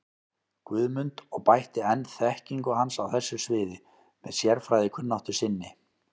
Guðmund og bætti enn þekkingu hans á þessu sviði með sérfræðikunnáttu sinni.